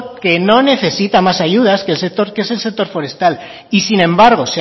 que no necesita más ayudas que el sector que es el sector forestal y sin embargo